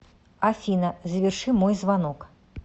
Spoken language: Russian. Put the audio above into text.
афина заверши мой звонок